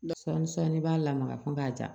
Dɔ sɔɔni sɔnni i b'a lamaga ko b'a di yan